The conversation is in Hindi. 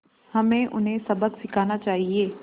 हमें उन्हें सबक सिखाना चाहिए